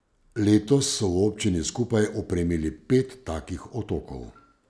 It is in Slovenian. Letos so v občini skupaj opremili pet takih otokov.